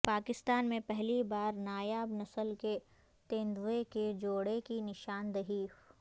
پاکستان میں پہلی بار نایاب نسل کے تیندوے کے جوڑے کی نشاندہی